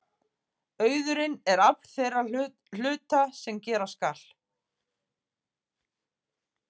Auðurinn er afl þeirra hluta sem gera skal.